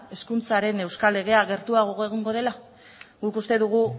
hezkuntzaren euskal legea gertuago egongo dela guk uste dugu